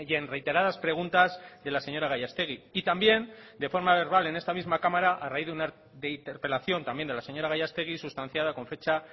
en reiteradas preguntas de la señora gallastegui y también de forma verbal en esta misma cámara a raíz de interpelación también de la señora gallastegui sustanciada con fecha